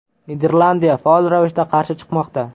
Niderlandiya faol ravishda qarshi chiqmoqda.